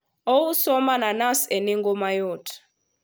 ouso mananas e nengo mayot